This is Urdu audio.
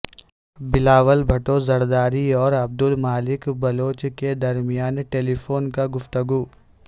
بلاول بھٹو زرداری اور عبدالمالک بلوچ کے درمیان ٹیلیفونک گفتگو